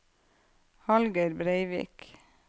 Hallgeir Breivik